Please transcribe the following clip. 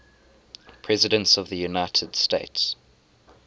presidents of the united states